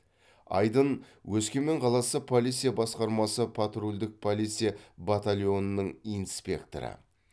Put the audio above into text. айдын өскемен қаласы полиция басқармасы патрульдік полиция батальонының инспекторы